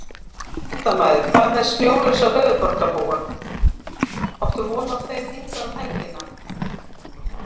Fréttamaður: Hvað með snjólausa höfuðborgarbúa, áttu von á þeim hingað um helgina?